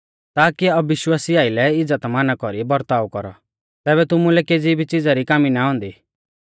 ताकी अविश्वासी आइलै इज़्ज़तमाना कौरी बरताव कौरौ तैबै तुमुलै केज़ी भी च़िज़ा री कामी ना औन्दी